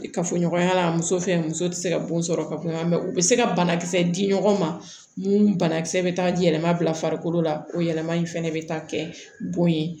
Kafoɲɔgɔnya la muso fɛ muso tɛ se ka bon sɔrɔ ka kuma u bɛ se ka banakisɛ di ɲɔgɔn ma mun banakisɛ bɛ taa yɛlɛma bila farikolo la o yɛlɛma in fɛnɛ bɛ taa kɛ bon ye